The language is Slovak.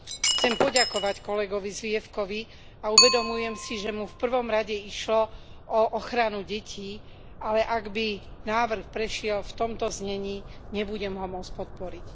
Chcem poďakovať kolegovi Zwiefkovi a uvedomujem si, že mu v prvom rade išlo o ochranu detí, ale ak by návrh prešiel v tomto znení, nebudem ho môcť podporiť.